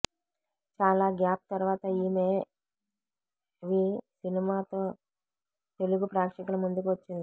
చాల గ్యాప్ తర్వాత ఈమె వి సినిమాతో తెలుగు ప్రేక్షకుల ముందుకు వచ్చింది